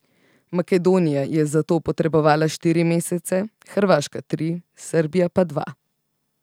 Makedonija je za to potrebovala štiri mesece, Hrvaška tri, Srbija pa dva.